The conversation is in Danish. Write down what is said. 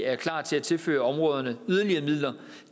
er klar til at tilføre områderne yderligere midler